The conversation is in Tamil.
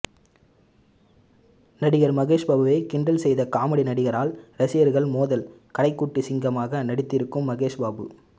நடிகர் மகேஷ் பாபுவை கிண்டல் செய்த காமெடி நடிகரால் ரசிகர்கள் மோதல் கடைக்குட்டி சிங்கமாக நடித்திருக்கும் மகேஷ்பாபு